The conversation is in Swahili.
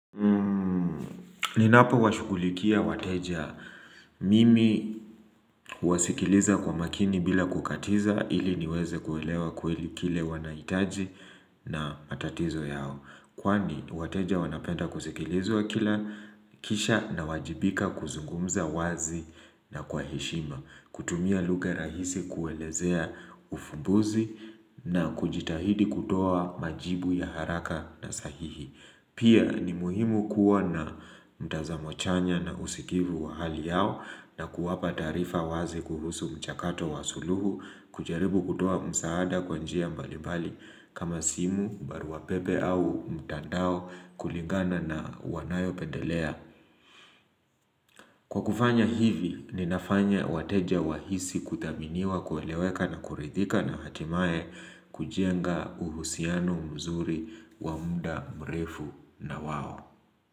Ninapowashugulikia wateja mimi huwasikiliza kwa makini bila kukatiza ili niweze kuelewa kweli kile wanaitaji na matatizo yao. Kwani wateja wanapenda kusikilizwa kila kisha nawajibika kuzungumza wazi na kwa heshima. Kutumia lugha rahisi kuelezea ufumbuzi na kujitahidi kutoa majibu ya haraka na sahihi. Pia ni muhimu kuwa na mtazamo chanya na usikivu wa hali yao na kuwapa taarifa wazi kuhusu mchakato wa suluhu, kujaribu kutoa msaada kwa njia mbalibali kama simu, barua pepe au mtandao kulingana na wanayopendelea. Kwa kufanya hivi, ninafanya wateja wahisi kuthaminiwa kueleweka na kurithika na hatimae kujenga uhusiano mzuri wa muda mrefu na wao.